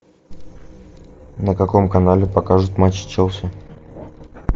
на каком канале покажут матч челси